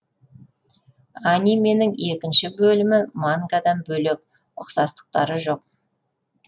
анименің екінші бөлімі мангадан бөлек ұқсастықтары жоқ